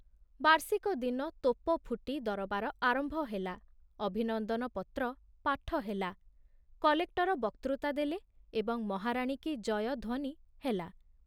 ବାର୍ଷିକ ଦିନ ତୋପ ଫୁଟି ଦରବାର ଆରମ୍ଭ ହେଲା, ଅଭିନନ୍ଦନ ପତ୍ର ପାଠ ହେଲା, କଲେକ୍ଟର ବକ୍ତୃତା ଦେଲେ ଏବଂ ମହାରାଣୀ କୀ ଜୟ ଧ୍ବନି ହେଲା।